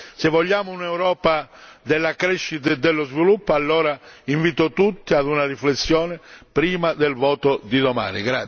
Se vogliamo un'Europa della crescita e dello sviluppo, allora invito tutti a una riflessione prima del voto di domani.